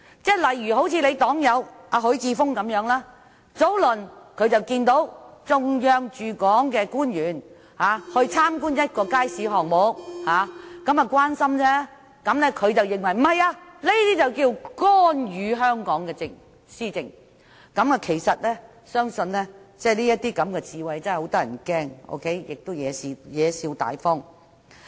以尹議員的黨友許智峯議員為例，他早前看到有中央駐港官員參觀一個街市項目，這是關心的表現，他卻認為是干預香港施政，這種智慧真的很嚇人，亦貽笑大方。